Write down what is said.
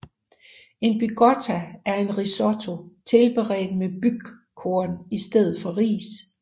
En Bygotto er en risotto tilberedt med bygkorn i stedet for ris